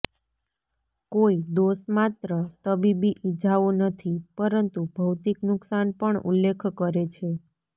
કોઈ દોષ માત્ર તબીબી ઇજાઓ નથી પરંતુ ભૌતિક નુકસાન પણ ઉલ્લેખ કરે છે